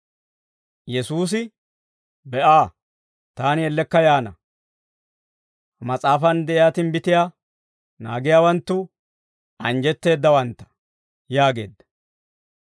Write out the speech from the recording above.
Yesuusi, «Be'a! Taani ellekka yaana. Ha mas'aafan de'iyaa timbbitiyaa naagiyaawanttu anjjetteeddawantta» yaageedda.